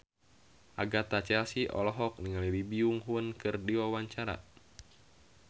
Agatha Chelsea olohok ningali Lee Byung Hun keur diwawancara